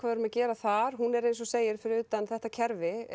erum að gera þar hún er eins og þú segir fyrir utan þetta kerfi